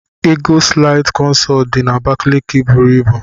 Eagleside consult did na Abakaliki buru ibu.